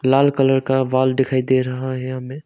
लाल colour का wall दिखाई दे रहा है हमें।